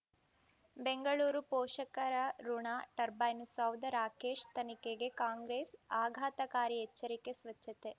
ಬೆಂಗಳೂರು ಪೋಷಕರಋಣ ಟರ್ಬೈನು ಸೌಧ ರಾಕೇಶ್ ತನಿಖೆಗೆ ಕಾಂಗ್ರೆಸ್ ಆಘಾತಕಾರಿ ಎಚ್ಚರಿಕೆ ಸ್ವಚ್ಛತೆ